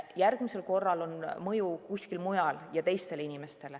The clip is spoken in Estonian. Järgmisel korral on mõju kuskil mujal ja teistele inimestele.